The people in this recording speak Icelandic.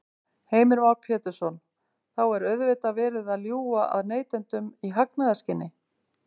Heimir Már Pétursson: Þá er auðvitað verið að ljúga að neytendum í hagnaðarskyni?